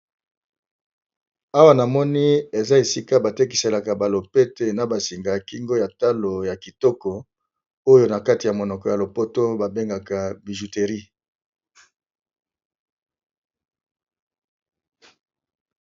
Awa na moni eza esika batekiselaka balopete na basinga ya kingo ya talo ya kitoko oyo na kati ya monoko ya lopoto babengaka bijuterie.